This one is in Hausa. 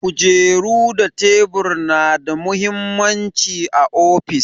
Kujeru da tebur na da mahimmanci a ofis.